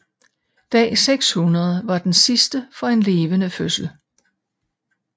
Dag 600 var den sidste for en levende fødsel